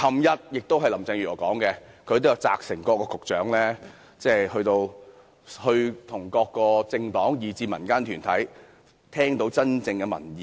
昨天，林鄭月娥表示，她會責成各局長與各政黨及民間團體溝通，聽取真正的民意。